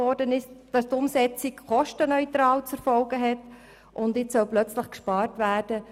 Dieses hält fest, dass die Umsetzung kostenneutral zu erfolgen hat, jetzt soll aber auf einmal gespart werden.